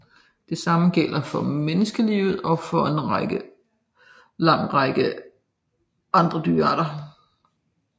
Det samme gælder for menneskelivet og for en lang række andre dyrearter